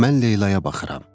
Mən Leylaya baxıram.